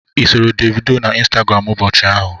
Ị soro Davido na Instagram ụbọchị ahụ?